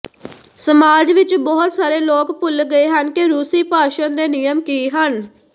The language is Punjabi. ਸਮਾਜ ਵਿਚ ਬਹੁਤ ਸਾਰੇ ਲੋਕ ਭੁੱਲ ਗਏ ਹਨ ਕਿ ਰੂਸੀ ਭਾਸ਼ਣ ਦੇ ਨਿਯਮ ਕੀ ਹਨ